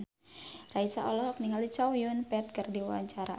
Raisa olohok ningali Chow Yun Fat keur diwawancara